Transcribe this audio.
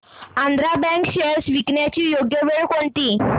Andhra bank shares विकण्याची योग्य वेळ कोणती